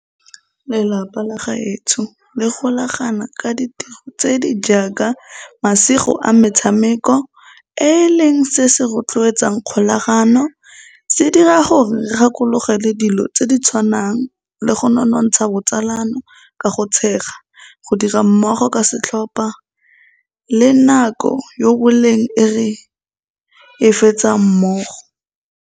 Lelapa la gaetsho le golagana ka ditiro tse di jaaka masigo a metshameko e e leng se se rotloetsang kgolagano. Se dira gore re gakologelwa dilo tse di tshwanang le go nonontsha botsalano ka go tshega, go dira mmogo ka setlhopa le nako yo boleng e re e fetsang mmogo.